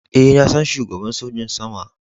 Eh, na san shugaban sojin sama.